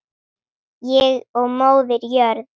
Ég og Móðir jörð.